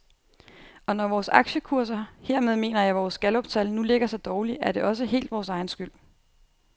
Og når vores aktiekurser, hermed mener jeg vores galluptal, nu ligger så dårligt, er det også helt vores egen skyld.